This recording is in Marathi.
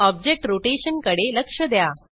ऑब्जेक्ट रोटेशनकडे लक्ष द्या